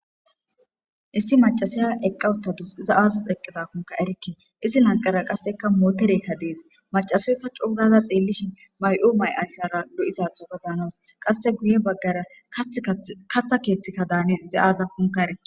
issi macasiya eqqawuta dus iza aazas eqqidakunka erikki izi lanqara qasseka mooterekka dees macasiyota cuugaza xeellishin may7o may7ayssara do7isathoka daanoos qasse guye baggara katha keeththikka daanis iza aaza kunka ere